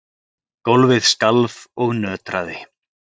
Gólfið skalf og nötraði.